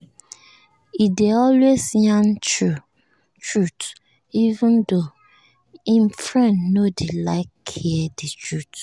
he dey always yarn truth even tho him friend no dey like hear the truth